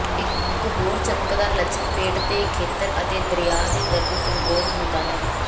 ਇਕ ਹੋਰ ਚਮਕਦਾਰ ਲੱਛਣ ਪੇਟ ਦੇ ਖੇਤਰ ਅਤੇ ਦਰਿਆ ਦੇ ਦਰਦ ਸਿੰਡਰੋਮ ਹੁੰਦਾ ਹੈ